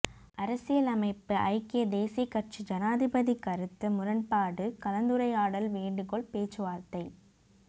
அரசியல் அமைப்பு ஐக்கிய தேசியக் கட்சி ஜனாதிபதி கருத்து முரண்பாடு கலந்துரையாடல் வேண்டுகோள் பேச்சுவார்த்தை